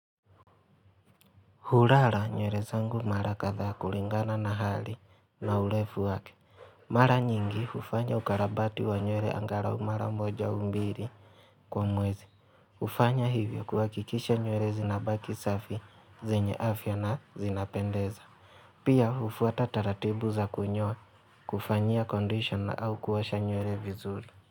Hulala nywele zangu mara kadhaa kulingana na hali na urefu wake. Mara nyingi hufanya ukarabati wa nywele angalau mara moja au mbili kwa mwezi. Hufanya hivyo kuhakikisha nywele zinabaki safi zenye afya na zinapendeza. Pia hufuata taratibu za kunyoa, kufanyia condition au kuosha nywele vizuri.